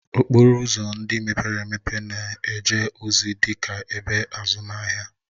Okporo ụzọ ndị mepere emepe na-eje ozi dị ka ebe azụmahịa